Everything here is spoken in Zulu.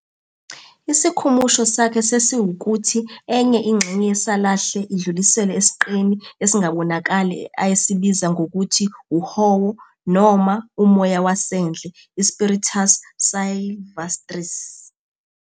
Isikhumusho sakhe sasiwukuthi enye ingxenye yesalahle idluliselwe esiqeni esingabonakali ayesibiza ngokuthi "uhowo" noma "umoya wasendle", i- "spiritus sylvestris".